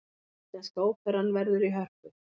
Íslenska óperan verður í Hörpu